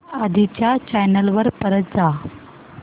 आधी च्या चॅनल वर परत जा